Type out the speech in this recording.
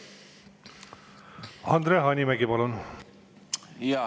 Andre Hanimägi, palun!